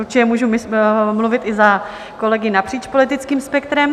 Určitě můžu mluvit i za kolegy napříč politickým spektrem.